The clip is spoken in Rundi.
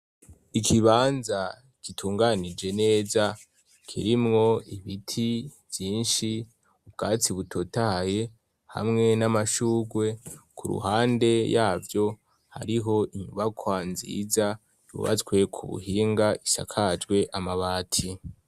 Ikibanza kitunganije neza kirimwo ibiti vyinshi ubwatsi butotaye hamwe n'amashurwe ku ruhande yavyo hariho inyubakwa nziza yubazwe ku buhinga ishakajwe amabati.